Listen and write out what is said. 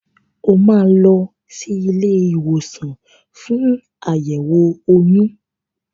O máa lọ sí ilé ìwòsàn fún àyẹ̀wò oyún.